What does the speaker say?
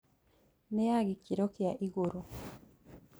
Nĩya gĩkĩro kĩa igũrũ